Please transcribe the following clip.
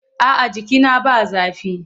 A'a jikina ba zafi.